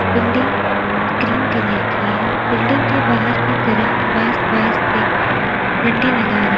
Building cream colour की है। Building के बाहर की तरफ बांस-बांस से डंडे लगा र --